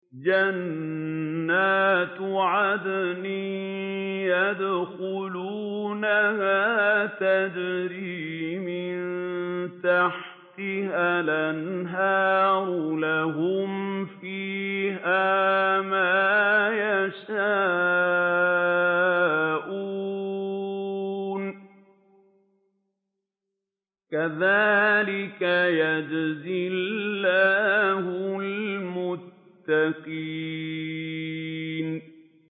جَنَّاتُ عَدْنٍ يَدْخُلُونَهَا تَجْرِي مِن تَحْتِهَا الْأَنْهَارُ ۖ لَهُمْ فِيهَا مَا يَشَاءُونَ ۚ كَذَٰلِكَ يَجْزِي اللَّهُ الْمُتَّقِينَ